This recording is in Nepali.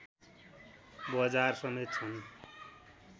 बजार समेत छन्